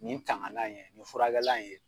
Nin tanganan in ye nin furakɛla in ye.